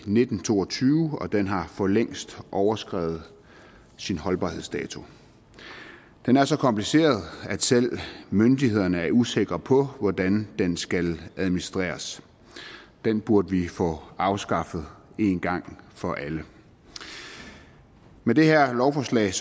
nitten to og tyve og den har for længst overskredet sin holdbarhedsdato den er så kompliceret at selv myndighederne er usikre på hvordan den skal administreres den burde vi få afskaffet en gang for alle med det her lovforslag